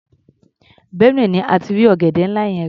Benue ni a ti rí ọ̀gẹ̀dẹ́ ńlá yẹn rà.